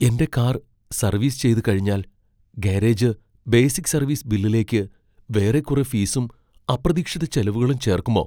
എന്റെ car service ചെയ്തുകഴിഞ്ഞാൽ garage basic service ബില്ലിലേക്ക് വേറെ കുറെ ഫീസും അപ്രതീക്ഷിത ചെലവുകളും ചേർക്കുമോ?